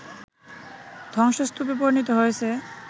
ধ্বংসস্তূপে পরিণত হয়েছে